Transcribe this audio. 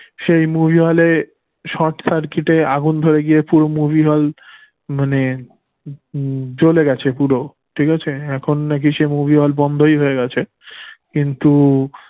সেই movie hall এ short circuit এ আগুন ধরে গিয়ে পুরো movie hall মানে উম জ্বলে গেছে পুরো ঠিক আছে? এখন নাকি সেই movie hall বন্ধই হয়ে গেছে কিন্তু